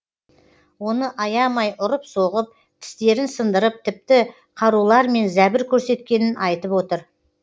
оны аямай ұрып соғып тістерін сындырып тіпті қарулармен зәбір көрсеткенін айтып отыр